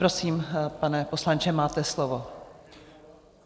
Prosím, pane poslanče, máte slovo.